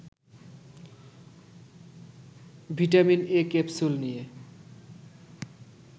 vitamin A capsule নিয়ে